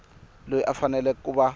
loyi u fanele ku va